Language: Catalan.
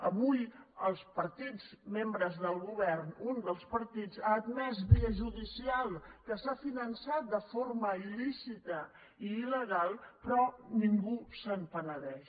avui els partits membres del govern un dels partits ha admès via judicial que s’ha finançat de forma ilperò ningú se’n penedeix